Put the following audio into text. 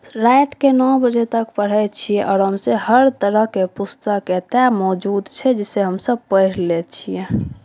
रात के नौ बजे तक पढ़े छीये आराम से हर तरह के पुस्तक एता मौजूद छै जे से हम सब पढ़ ले छिए।